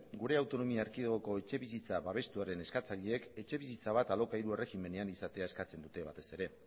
gure autonomia erkidegoko etxebizitza babestuaren eskatzaileek etxebizitza bat alokairu erregimenean izatea eskatzen dute batez ere